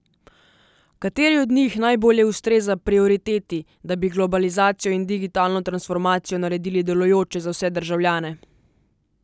Kateri od njih najbolje ustreza prioriteti, da bi globalizacijo in digitalno transformacijo naredili delujočo za vse državljane?